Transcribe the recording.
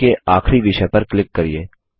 सूची के आखरी विषय पर क्लिक करिये